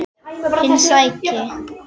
Hinn seki.